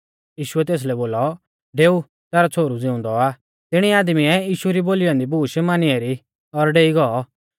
यीशुऐ तेसलै बोलौ डेऊ तैरौ छ़ोहरु ज़िउंदौ आ तिणी आदमीऐ यीशु री बोली औन्दी बूश मानी एरी और डेई गौ